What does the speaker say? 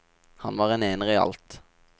Han var en ener i alt.